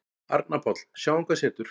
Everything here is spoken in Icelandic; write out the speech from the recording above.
Arnar Páll: Sjáum hvað setur.